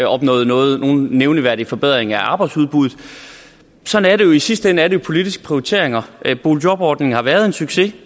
opnået nogen nævneværdig forbedring af arbejdsudbuddet sådan er det jo i sidste ende er det jo politiske prioriteringer boligjobordningen har været en succes